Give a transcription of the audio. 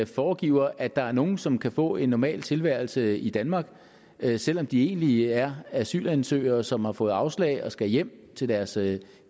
foregiver at der er nogle som kan få en normal tilværelse i danmark selv om de egentlig er asylansøgere som har fået afslag og skal hjem til deres